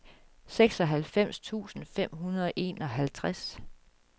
seksoghalvfems tusind fem hundrede og enoghalvtreds